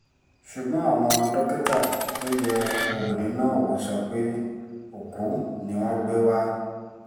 ṣùgbọ́n àwọn dókítà tó yẹ obìnrin náà wò sọ pé òkú ni wọ́n gbé wá